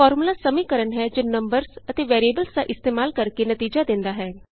formula ਸਮੀਕਰਨ ਹੈ ਜੋ ਨੰਬਰਸ ਅਤੇ ਵੈਰਿਏਬਲਸ ਦਾ ਇਸਤੇਮਾਲ ਕਰਕੇ ਨਤੀਜਾ ਦਿੰਦਾ ਹੈ